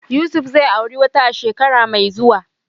Yusuf zai auri wata a shekara mai zuwa.